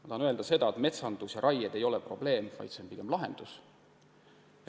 Ma tahan öelda seda, et metsandus ja raie ei ole probleem, vaid pigem lahendus.